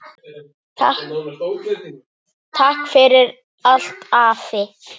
Takk fyrir allt, afi.